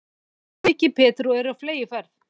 Þeir voru mikið betri og eru á fleygiferð.